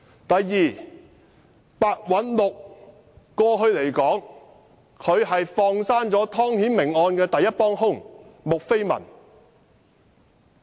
第二，白韞六過去放生了湯顯明案的第一幫兇穆斐文。